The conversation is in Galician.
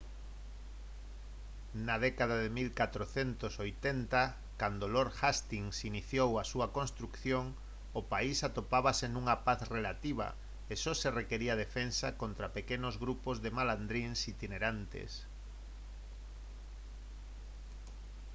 na década de 1480 cando lord hastings iniciou a súa construción o país atopábase nunha paz relativa e só se requiría defensa contra pequenos grupos de malandríns itinerantes